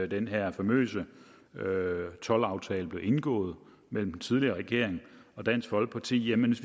den her famøse toldaftale blev indgået mellem den tidligere regering og dansk folkeparti